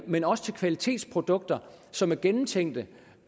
men også for kvalitetsprodukter som er gennemtænkte